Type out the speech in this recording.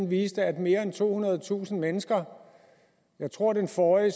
viste at mere end tohundredetusind mennesker jeg tror at den forrige